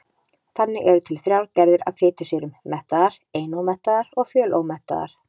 Þannig eru til þrjár gerðir af fitusýrum: mettaðar, einómettaðar og fjölómettaðar.